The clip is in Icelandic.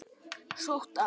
Sótt af